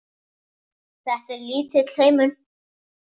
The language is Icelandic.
Þetta er lítill heimur!